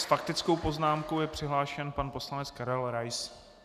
S faktickou poznámkou je přihlášen pan poslanec Karel Rais.